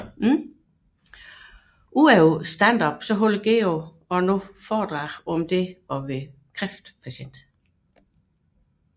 Ud over standup holder Geo nu også foredrag om oplevelsen som kræftpatient